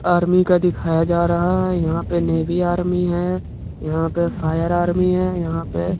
Army का दिखाया जा रहा है। यहाँ पे नेबि आर्मी है यहाँ पे फायर आर्मी है। यहाँ पे --